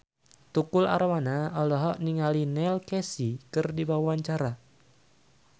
Tukul Arwana olohok ningali Neil Casey keur diwawancara